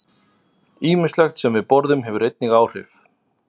Ýmislegt sem við borðum hefur einnig áhrif.